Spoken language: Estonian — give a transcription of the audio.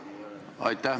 Aitäh!